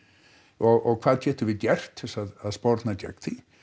og hvað getum við gert til þess að sporna gegn því